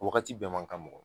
Wagati bɛɛ man ka mɔgɔ ma